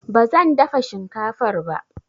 Ba zan dafa shinkafar ba.